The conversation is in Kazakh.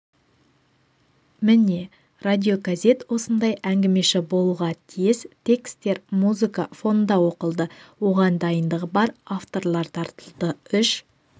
міне радиогазет осындай әңгімеші болуға тиіс текстер музыка фонында оқылды оған дайындығы бар авторлар тартылды үш